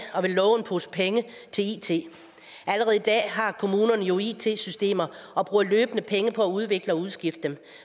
og vil love en pose penge til it allerede i dag har kommunerne jo it systemer og bruger løbende penge på at udvikle og udskifte dem